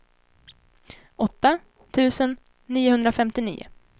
åtta tusen niohundrafemtionio